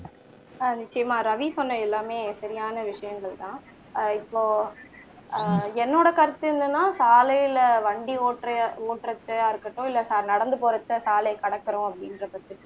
ஆஹ் நிச்சயமா ரவி சொன்ன எல்லாமே சரியான விஷயங்கள் தான் ஆஹ் இப்போ ஆஹ் என்னோட கருத்து என்னன்னா சாலைல வண்டி ஓட்டுற ஓட்டுறப்போவா இருக்கட்டும் இல்ல நடந்து போற ஒருத்தர் சாலைய கடக்கணும் அப்படிங்குற பட்சத்துல